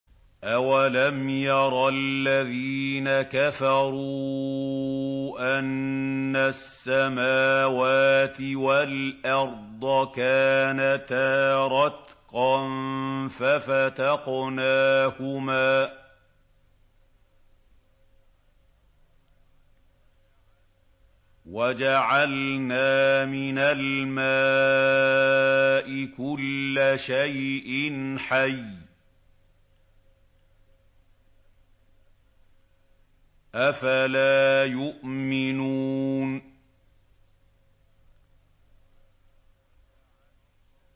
أَوَلَمْ يَرَ الَّذِينَ كَفَرُوا أَنَّ السَّمَاوَاتِ وَالْأَرْضَ كَانَتَا رَتْقًا فَفَتَقْنَاهُمَا ۖ وَجَعَلْنَا مِنَ الْمَاءِ كُلَّ شَيْءٍ حَيٍّ ۖ أَفَلَا يُؤْمِنُونَ